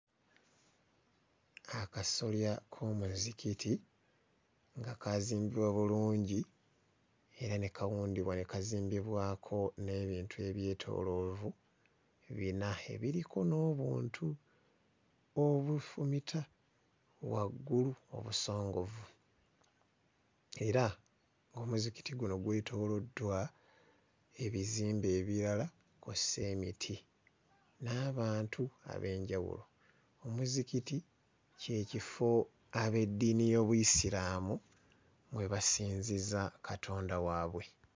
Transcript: Akasolya k'omuzikiti nga kaazimbibwa bulungi era ne kawundibwa ne kazimbibwako n'ebintu ebyetooloovu bina ebiriko n'obuntu obufumita waggulu obusongovu era omuzikiti guno gwetooloddwa ebizimbe ebirala kw'ossa emiti n'abantu ab'enjawulo. Omuzikiti kye kifo ab'eddiini y'Obuyisiraamu mwe basinziza Katonda waabwe.